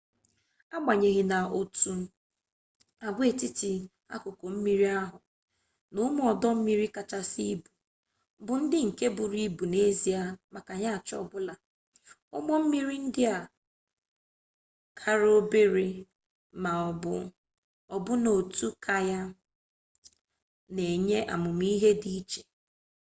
agbanyeghị n'otu agwaetiti akụkụ mmiri ahụ na ụmụ ọdọ mmiri kachasị ibu bụ ndị nke buru ibu n'ezie maka yaach ọ bụla ụgbọ mmiri ndị kara obere ma ọ bụ ọbụna otu kayak na-enye ahụmihe dị iche